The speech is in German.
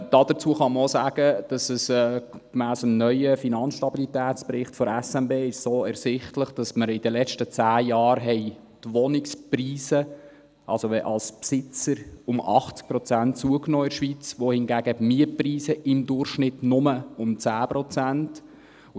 Dazu kann man auch sagen, dass gemäss dem neuen Finanzstabilitätsbericht der Schweizerischen Nationalbank (SNB) ersichtlich ist, dass in den letzten zehn Jahren die Wohnungspreise für Besitzer um 80 Prozent zugenommen haben, hingegen die Mietpreise im Durchschnitt nur um 10 Prozent.